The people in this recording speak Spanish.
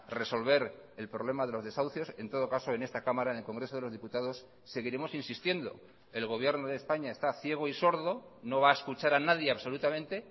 resolver el problema de los desahucios en todo caso en esta cámara en el congreso de los diputados seguiremos insistiendo el gobierno de españa está ciego y sordo no va a escuchar a nadie absolutamente